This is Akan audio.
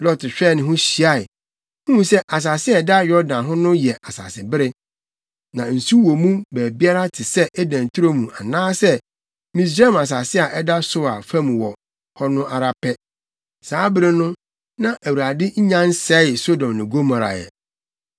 Lot hwɛɛ ne ho hyiae, huu sɛ asase a ɛda Yordan ho no yɛ asasebere. Na nsu wɔ mu baabiara te sɛ Eden turo mu anaasɛ Misraim asase a ɛda Soar fam hɔ no ara pɛ. Saa bere no, na Awurade nnya nsɛee Sodom ne Gomora ɛ.